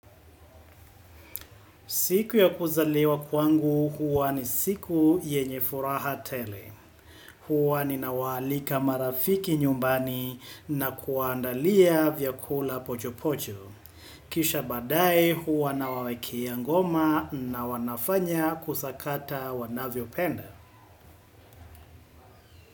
Siku ya kuzaliwa kwangu huwa ni siku yenye furaha tele. Huwa ninawaalika marafiki nyumbani na kuwaandalia vyakula pochopocho. Kisga baadaye, huwa nawawekea ngoma na kusakata wanavyopenda.